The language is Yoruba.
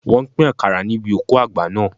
Wọ́n pín àkàrà níbi òkú àgbà naa